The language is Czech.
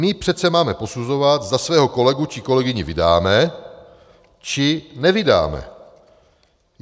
My přece máme posuzovat, zda svého kolegu či kolegyni vydáme, či nevydáme.